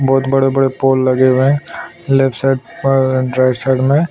बहुत बड़े-बड़े पोल लगे हुए हैं लेफ्ट साइड पर राइट साइड में--